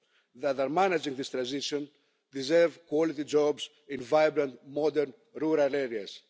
that are managing this transition deserve quality jobs in vibrant, modern rural areas.